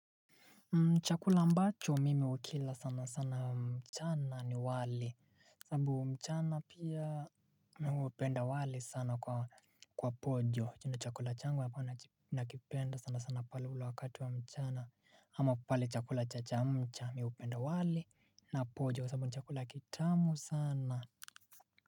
Chakula mbacho mimi ukila sana sana mchana ni wali sabu mchana pia upenda wali sana kwa pojo Chunda chakula changu ambao nakipenda sana sana pale ula wakati wa mchana ama pale chakula cha chamcha mi upenda wali na pojo sababu ni chakula kitamu sana.